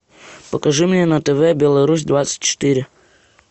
покажи мне на тв беларусь двадцать четыре